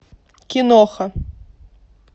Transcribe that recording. киноха